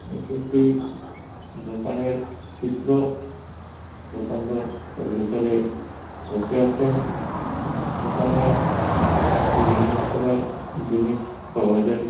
এটি একটি দোকানের চিত্র। দোকানদার তার ভেতরে বসে আছেন। দোকানে বিভিন্ন রকমের জিনিস পাওয়া যায়।